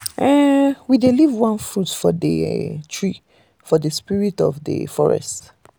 we dey leave one fruit for the tree for the spirit of the um forest